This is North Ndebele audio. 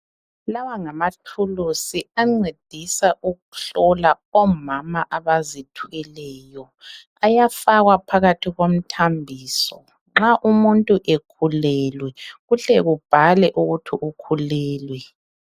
Lawa ngamathuluzi ancedisa ukuhlola omama abazithweleyo, ayafakwa phakathi komthambiso nxa umuntu ekhulelwe kuhle kubhalwe ukuthi ukhulelwe.